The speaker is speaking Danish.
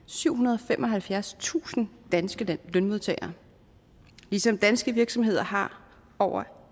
syvhundrede og femoghalvfjerdstusind danske lønmodtagere ligesom danske virksomheder har over